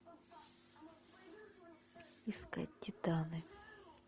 искать титаны